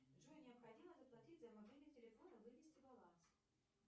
джой необходимо заплатить за мобильный телефон и вывести баланс